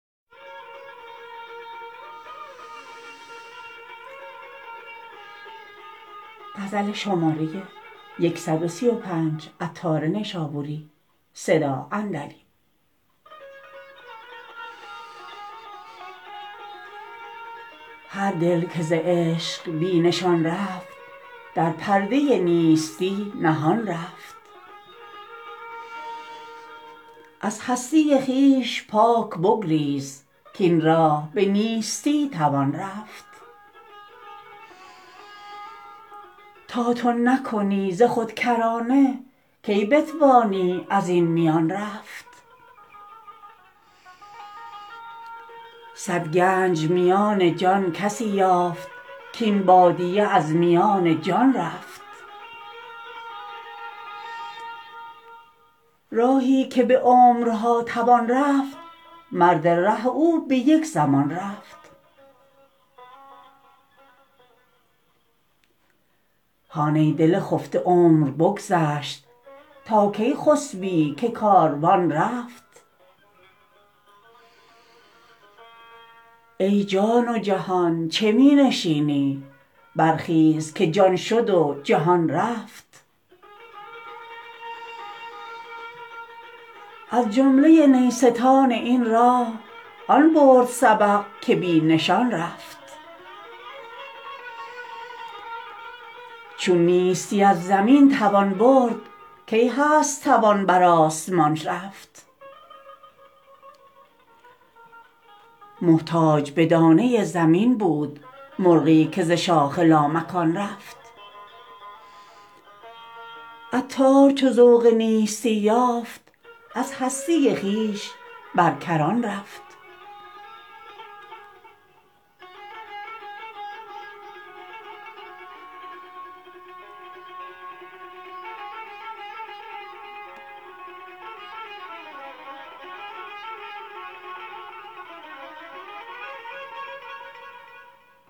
هر دل که ز عشق بی نشان رفت در پرده نیستی نهان رفت از هستی خویش پاک بگریز کین راه به نیستی توان رفت تا تو نکنی ز خود کرانه کی بتوانی ازین میان رفت صد گنج میان جان کسی یافت کین بادیه از میان جان رفت راهی که به عمرها توان رفت مرد ره او به یک زمان رفت هان ای دل خفته عمر بگذشت تا کی خسبی که کاروان رفت ای جان و جهان چه می نشینی برخیز که جان شد و جهان رفت از جمله نیستان این راه آن برد سبق که بی نشان رفت چون نیستی از زمین توان برد کی هست توان بر آسمان رفت محتاج به دانه زمین بود مرغی که ز شاخ لامکان رفت عطار چو ذوق نیستی یافت از هستی خویش بر کران رفت